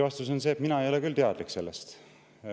Lühike vastus on see, et mina ei ole küll sellest teadlik.